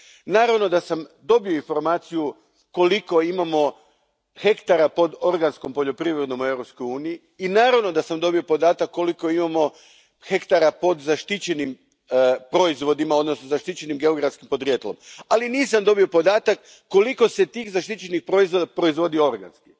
Naravno da sam dobio informaciju koliko imamo hektara pod organskom poljoprivredom u Europskoj uniji i naravno da sam dobio podatak koliko imamo hektara pod zaštićenim proizvodima, odnosno zaštićenim geografskim podrijetlom, ali nisam dobio podatak koliko se tih zaštićenih proizvoda proizvodi organski.